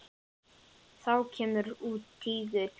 Þá kemur út tígull.